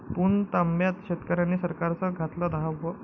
पुणतांब्यात शेतकऱ्यांनी सरकारचं घातलं दहावं